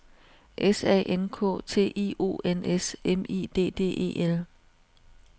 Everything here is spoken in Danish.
S A N K T I O N S M I D D E L